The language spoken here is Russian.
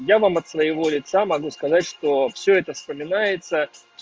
я вам от своего лица могу сказать что всё это вспоминается